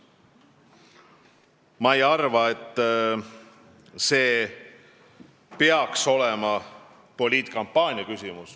Ma ei arva, et see peaks olema poliitkampaania küsimus.